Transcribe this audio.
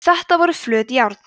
þetta voru flöt járn